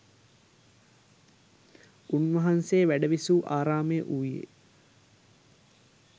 උන්වහන්සේ වැඩවිසූ ආරාමය වූයේ